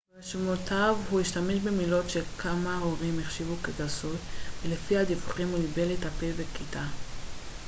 ברשימותיו הוא השתמש במילים שכמה הורים החשיבו כגסות ולפי הדיווחים הוא ניבל את הפה בכיתה